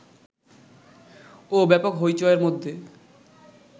ওব্যাপক হৈ চৈয়ের মধ্যে